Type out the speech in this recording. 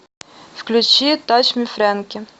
включи тач ми фрэнки